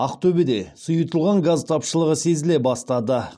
ақтөбеде сұйытылған газ тапшылығы сезіле бастады